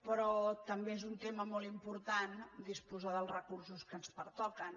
però també és un tema molt important disposar dels recursos que ens pertoquen